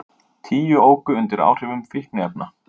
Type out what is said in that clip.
Tíu óku undir áhrifum fíkniefna